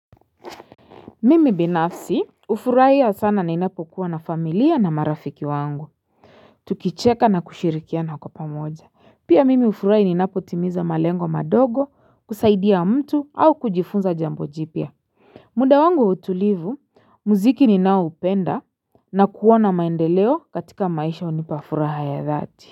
Mimi binafsi hufurai ya sana na inapo kuwa na familia na marafiki wangu Tukicheka na kushirikiana kwa pamoja pia mimi hufurai ninapo timiza malengo madogo kusaidia mtu au kujifunza jambo jipya muda wangu wa utulivu muziki ninaoupenda na kuwa na maendeleo katika maisha hunipa furaha ya dhati.